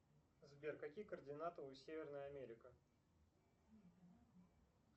сбер какие координаты у северная америка